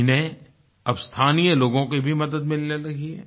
इन्हें अब स्थानीय लोगों की भी मदद मिलने लगी है